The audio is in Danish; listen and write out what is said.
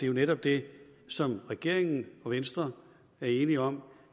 jo netop det som regeringen og venstre er enige om